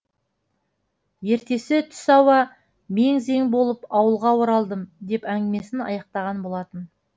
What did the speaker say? ертесі түс ауа мең зең болып ауылға оралдым деп әңгімесін аяқтаған болатын